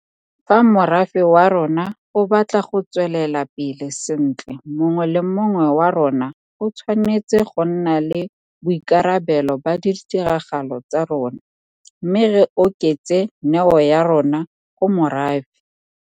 Fa morafe wa rona o batla go tswelela pele sentle mongwe le mongwe wa rona o tshwanetse go nna le boikarabelo ba ditiragalo tsa rona, mme re oketse neo ya rona go morafe.